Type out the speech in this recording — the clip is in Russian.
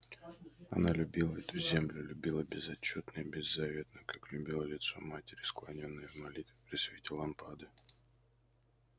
она любила эту землю любила безотчётно и беззаветно как любила лицо матери склонённое в молитве при свете лампады